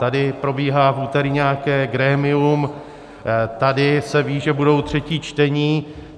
Tady probíhá v úterý nějaké grémium, tady se ví, že budou třetí čtení.